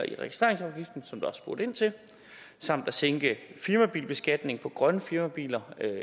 som der også er spurgt ind til samt at sænke firmabilbeskatningen på grønne firmabiler